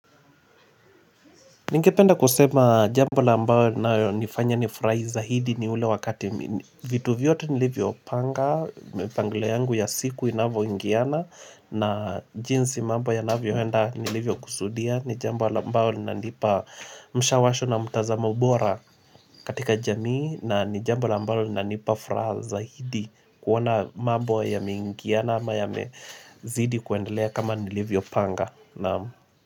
Ningependa kusema jambo la ambalo inanifanya nifurahi zaidi ni ule wakati vitu vyote nilivyopanga mipangilio yangu ya siku inavyoingiana na jinsi mambo yanavyoenda nilivyokusudia ni jambo la ambao inanipa mshawasho na mtazamo bora katika jamii na ni jambo la ambalo linanipa furaha zaidi kuona mambo yameingiana ama yamezidi kuendelea kama nilivyopanga Naamu.